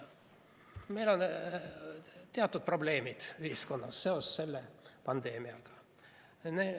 Meil on teatud probleemid ühiskonnas seoses selle pandeemiaga.